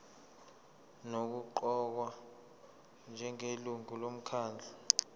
nokuqokwa njengelungu lomkhandlu